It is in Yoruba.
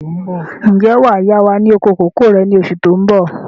Ǹjẹ́ wàá yá wa ní oko kòkó rẹ̀ ni oṣù tó bọ̀?